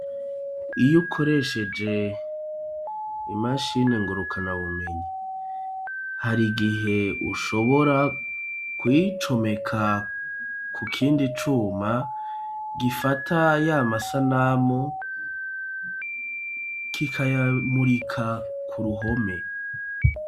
Iy'ukoresheje imashini ngurukanabumenyi, hari gihe ushobora kuyicomeka ku kindi cuma gifata y'amasanamu k'ikayamurika ku ruhome.